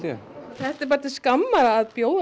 þetta er bara til skamma r að bjóða